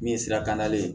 Min ye sira kannale ye